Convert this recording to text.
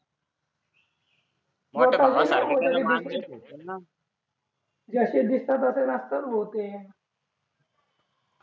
जसे दिसतात तसे नसतात भो ते